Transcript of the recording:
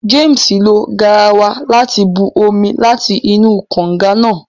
James lo garawa láti bù omí láti inú kànga náà